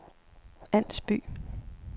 Ans By